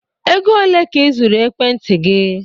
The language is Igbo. Ego ole ka ị zụrụ ekwentị gị?